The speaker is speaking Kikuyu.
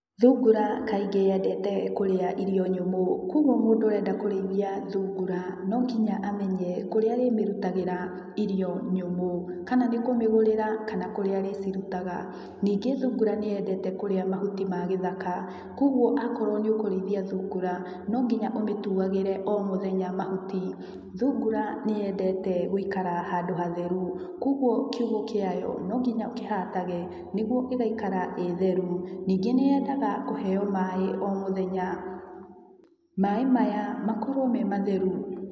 Thungura kaingĩ yendete kũrĩa irio nyũmũ, koguo mũndũ ũrenda kũrĩithia thungura nonginya amenye kũrĩa arĩmĩrutagĩra irio nyũmũ. Kana nĩ kũmĩgũrĩra kana kũrĩa arĩcirutaga. Ningĩ thungura nĩyendete kũrĩa mahuti ma gĩthaka, koguo akorwo nĩũkũrĩithia thungura nonginya ũmĩtuagĩre omũthenya mahuti. Thungura nĩyendete gũikaikara handũ hatheru, koguo kiugũ kĩayo nonginya ũkĩhatage nĩguo ĩgaikara ĩgĩtheru. Ningĩ nĩyendaga kũheo maĩ omũthenya. Maaĩ maya makorwo me matheru.